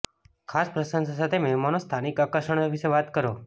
ખાસ પ્રશંસા સાથે મહેમાનો સ્થાનિક આકર્ષણો વિશે વાત કરો